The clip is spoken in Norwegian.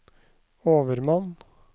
overmann